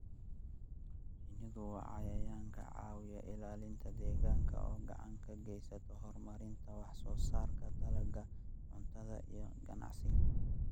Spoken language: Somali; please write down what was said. Shinnidu waa cayayaan ka caawiya ilaalinta deegaanka oo gacan ka geysta horumarinta wax soo saarka dalagga cuntada iyo ganacsiga.